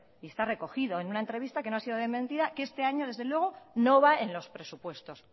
y está recogido en una entrevista que no ha sido desmentida que este año desde luego no va en los presupuestos